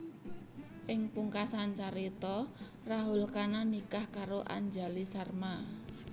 Ing pungkasan carita Rahul Khanna nikah karo Anjali Sharma